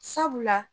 Sabula